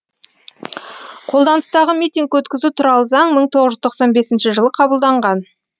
қолданыстағы митинг өткізу туралы заң мың тоғыз жүз тоқсан бесінші жылы қабылданған